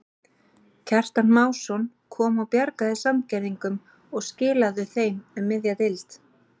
Kjartan Másson kom og bjargaði Sandgerðingum og skilaðu þeim um miðja deild.